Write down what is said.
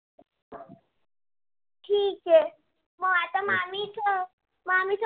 ठीक आहे म आता मामीच मामी आ